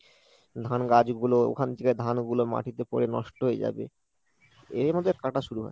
ধান গাছ গুলো ওখান থেকে ধানগুলো মাটিতে পড়ে নষ্ট হয়ে যাবে এর মধ্যে কাটা শুরু হয়।